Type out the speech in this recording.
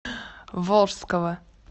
волжского